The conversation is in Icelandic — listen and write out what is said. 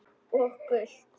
Og gult?